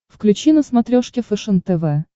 включи на смотрешке фэшен тв